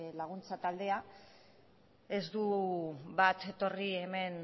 laguntza taldea ez da bat etorri hemen